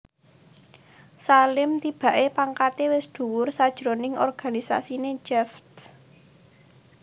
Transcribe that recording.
Salim tibaké pangkaté wis dhuwur sajroning organisasiné Javed